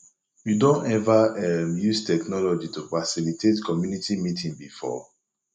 you don ever um use technology to facilitate community meeting before